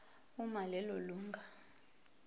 uma lelo lunga